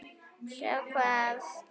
Sjá hvað?